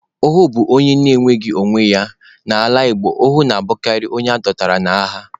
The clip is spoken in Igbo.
Ohu bụ onye enweghị onwe ya, n'ala Igbo, ohu na-abụkarị onye adọtara n'agha.